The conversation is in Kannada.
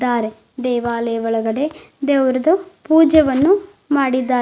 ದಾರೆ ದೇವಾಲಯದ ಒಳಗಡೆ ದೇವ್ರುದು ಪೂಜೆವನ್ನು ಮಾಡಿದ್ದಾರೆ.